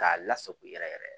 K'a lasago yɛrɛ yɛrɛ